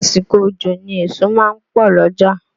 Àsìkò òjò ni èso ma ń pọ̀ l'ọ́jà.